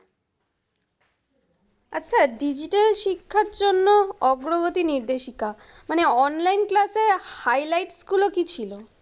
আচ্ছা, digital শিক্ষার জন্য অগ্রগতি নির্দেশিকা। মানে online class এ highlight গুলো কি ছিলো?